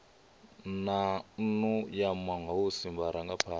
na nnu ya mahosi vharangaphana